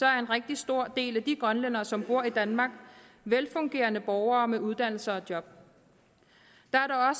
er en rigtig stor del af de grønlændere som bor i danmark velfungerende borgere med uddannelse og job der er